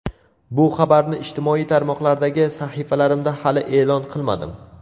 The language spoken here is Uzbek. Bu xabarni ijtimoiy tarmoqlardagi sahifalarimda hali e’lon qilmadim.